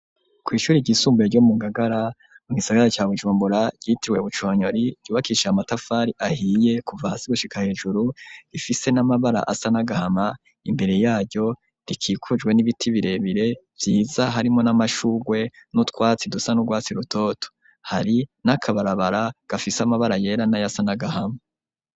Kw'ishuri ryisumbuye ryo mu ngagara mu gisagara ca bujumbura ryitirwe buconyori ryubakishiye amatafari ahiye kuva hasi gushika hejuru rifise n'amabara asa nagahama imbere yaryo rikikujwe n'ibiti birebire byiza harimwo n'amashugwe n'utwatsi dusa n'urwatsi rutoto hari n'akabarabara gafise amabara yera na yasa n'agahama.